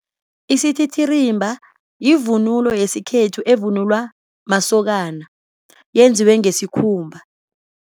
Isititirimba yivunulo yesikhethu evunulwa masokana yenziwe ngesikhumba.